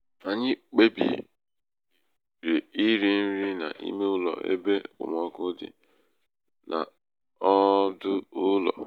anyị kpebiri iri nri n'ime ụlọ ebe okpomọkụ dị n'ọdụ ụlọ